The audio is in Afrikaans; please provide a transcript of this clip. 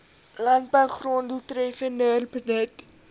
landbougrond doeltreffender benut